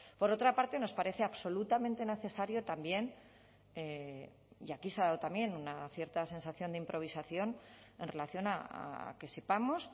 por otra parte nos parece absolutamente necesario también y aquí se ha dado también una cierta sensación de improvisación en relación a que sepamos